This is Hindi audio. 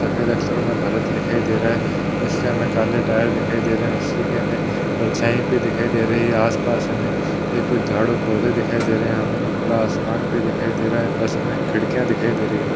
सफेद अक्षरो मे भारत लिखाई दे रहा है इसके हमे काले टायर दिखाई दे रहे है उसी के हमे परछाई भी दिखाई दे रही है आसपास हमे ए कुछ झाड़ू पोधे दिखाई दे रहे यहाँ पे हमे खुला आसमान भी दिखाई दे रहा बस मे खिड़किया दिखाई दे रही।